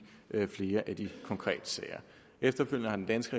flere af de konkrete sager efterfølgende har den danske